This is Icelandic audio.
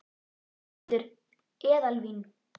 Þórhildur: Eðalvín?